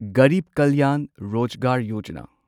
Garib Kalyan Rozgar Yojana